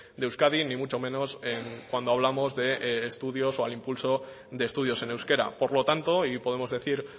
de euskadi ni mucho menos cuando hablamos de estudios o al impulso de estudios en euskera por lo tanto y podemos decir